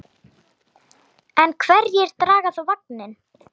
En hverjir draga þá vagninn?